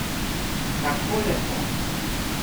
Kako lepo.